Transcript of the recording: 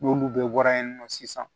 N'olu bɛɛ bɔra yen nɔ sisan